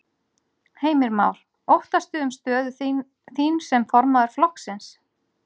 Heimir Már: Óttastu um stöðu þín sem formaður flokksins?